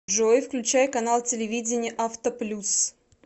джой включай канал телевидения авто плюс